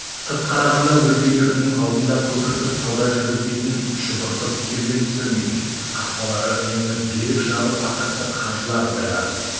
сырт қарағанда өз үйлерінің алдында көпіртіп сауда жүргізбейтін шұбыртып керуен түсірмейтін қақпалары үнемі берік жабық атақты қажылар байлар